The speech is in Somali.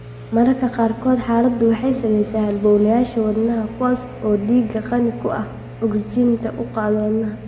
Mararka qaarkood xaaladdu waxay saamaysaa halbowlayaasha wadnaha (kuwaas oo dhiigga qani ku ah ogsijiinta u qaada wadnaha).